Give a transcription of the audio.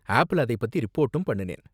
ஆப்ல அதைப் பத்தி ரிப்போர்ட்டும் பண்ணுனேன்.